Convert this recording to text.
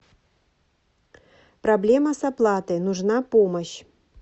проблема с оплатой нужна помощь